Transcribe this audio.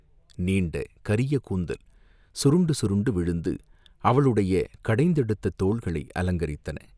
நீண்ட கரிய கூந்தல் சுருண்டு சுருண்டு விழுந்து அவளுடைய கடைந்தெடுத்த தோள்களை அலங்கரித்தன.